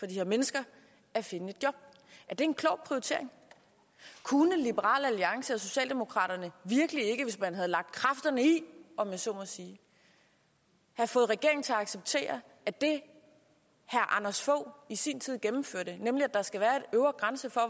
de her mennesker at finde et job er det en klog prioritering kunne liberal alliance og socialdemokraterne virkelig ikke hvis man havde lagt kræfterne i om jeg så må sige have fået regeringen til at acceptere at det herre anders fogh i sin tid gennemførte nemlig at der skal være en øvre grænse for